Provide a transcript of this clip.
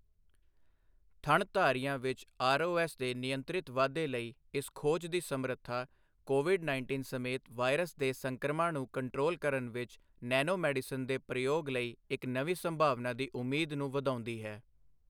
ਥਣਧਾਰੀਆਂ ਵਿੱਚ ਆਰਓਐੱਸ ਦੇ ਨਿਯੰਤਰਿਤ ਵਾਧੇ ਲਈ ਇਸ ਖੋਜ ਦੀ ਸਮਰੱਥਾਕੋਵਿਡ ਉੱਨੀ ਸਮੇਤ ਵਾਇਰਸ ਦੇ ਸੰਕ੍ਰਮਣਾਂ ਨੂੰ ਕੰਟਰੋਲ ਕਰਨ ਵਿੱਚ ਨੈਨੋਮੈਡੀਸਿਨ ਦੇ ਪ੍ਰਯੋਗ ਲਈ ਇੱਕ ਨਵੀਂ ਸੰਭਾਵਨਾ ਦੀ ਉਮੀਦ ਨੂੰ ਵਧਾਉਂਦੀ ਹੈ।